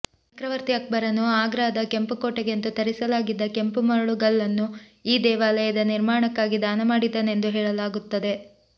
ಚಕ್ರವರ್ತಿ ಅಕ್ಬರನು ಆಗ್ರಾದ ಕೆಂಪು ಕೋಟೆಗೆಂದು ತರಿಸಲಾಗಿದ್ದ ಕೆಂಪು ಮರಳುಗಲ್ಲನ್ನು ಈ ದೇವಾಲಯದ ನಿರ್ಮಾಣಕ್ಕಾಗಿ ದಾನಮಾಡಿದ್ದನೆಂದು ಹೇಳಲಾಗುತ್ತದೆ